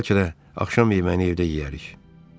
Bəlkə də axşam yeməyini evdə yeyərik.